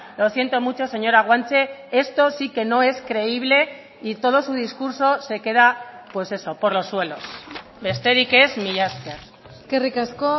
lo siento mucho señora guanche esto sí que no es creíble y todo su discurso se queda pues eso por los suelos besterik ez mila esker eskerrik asko